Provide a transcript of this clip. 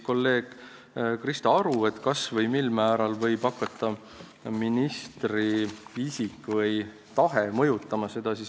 Kolleeg Krista Aru küsis, kas või mil määral võib hakata ministri isik või tahe seda mõjutama.